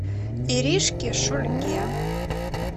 иришке шульге